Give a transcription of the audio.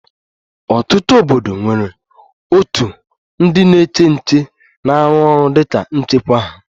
Ọtụtụ obodo nwere òtù ndị na-eche nche na-arụ ọrụ dị ka nchekwa ha